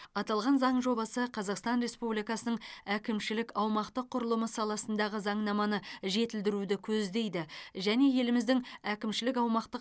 аталған заң жобасы қазақстан республикасының әкімшілік аумақтық құрылымы саласындағы заңнаманы жетілдіруді көздейді және еліміздің әкімшілік аумақтық